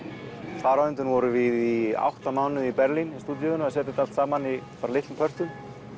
þar á undan vorum við í átta mánuði í Berlín í stúdíóinu að setja þetta allt saman í litlum pörtum